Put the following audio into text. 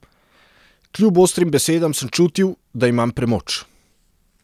Kljub ostrim besedam sem čutil, da imam premoč.